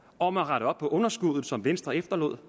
om at rette op på underskuddet som venstre efterlod